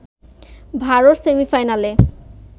ভারত সেমিফাইনালে